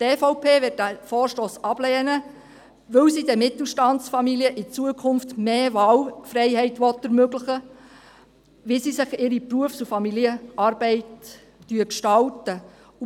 Die EVP wird diesen Vorstoss ablehnen, weil sie den Mittelstandsfamilien in Zukunft mehr Wahlfreiheit ermöglichen will, wie sie ihre Berufs- und Familienarbeit gestalten wollen.